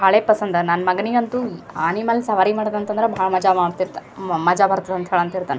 ಬಾಳೆ ಪಸಂದ ನನ್ನ ಮಗನಿಗಂತು ಆನಿ ಮೇಲೆ ಸವಾರಿ ಮಾಡೋತಂತದ್ರೆ ಬಹಳ್ ಮಜಾ ಮಾಡತ್ತಿದ್ದಾ ಮಜ ಬರತ್ತದ ಅಂತ ಹೇಳರ್ತಿತ್ತಾನ .